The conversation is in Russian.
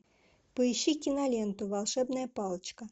поищи киноленту волшебная палочка